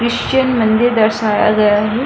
Christian मंदिर दर्शाया गया है।